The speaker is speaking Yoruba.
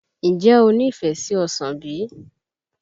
Ǹjẹ́ o ní ìfẹ́ sí ọsàn bí?